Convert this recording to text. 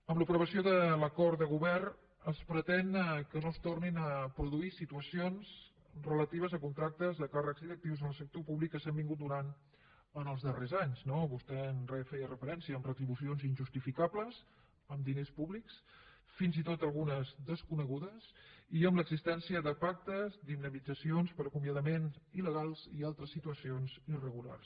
amb l’aprovació de l’acord de govern es pretén que no es tornin a produir situacions relatives a contractes de càrrecs directius en el sector públic que s’han donat en els darrers anys no vostè hi feia referència amb retribucions injustificables amb diners públics fins i tot algunes desconegudes i amb l’existència de pactes d’indemnitzacions per acomiadament ilsituacions irregulars